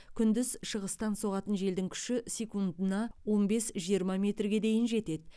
күндіз шығыстан соғатын желдің күші секундына он бес жиырма метрге дейін жетеді